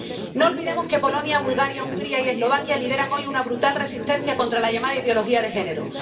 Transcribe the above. No olvidemos que Polonia, Bulgaria, Hungría y Eslovaquia lideran hoy una brutal resistencia contra la llamada ideología de género.